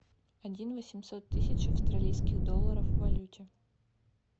один восемьсот тысяч австралийских долларов в валюте